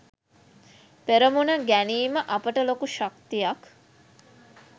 පෙරමුණ ගැනීම අපට ලොකු ශක්තියක්.